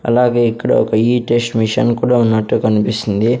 అలాగే ఇక్కడ ఒక ఈ టెస్ట్ మిషను కూడా ఉన్నట్టు కనిపిస్తుంది.